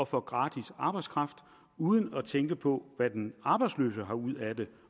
få gratis arbejdskraft uden at skulle tænke på hvad den arbejdsløse får ud af det